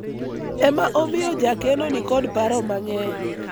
ema omiyo jakeno nikod paro mang'eny